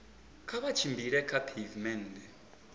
kha vha tshimbile kha pheivimennde